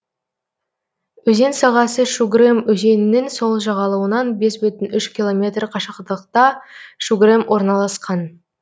өзен сағасы шугрем өзенінің сол жағалауынан бес бүтін үш километр қашықтықта шугрем орналасқан